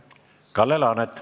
Kalle Laanet.